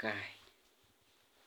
kaa.